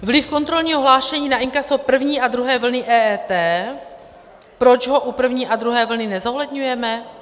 Vliv kontrolního hlášení na inkaso první a druhé vlny EET, proč ho u první a druhé vlny nezohledňujeme?